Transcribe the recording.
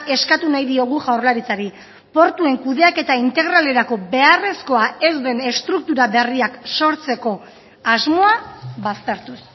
eskatu nahi diogu jaurlaritzari portuen kudeaketa integralerako beharrezkoa ez den estruktura berriak sortzeko asmoa baztertuz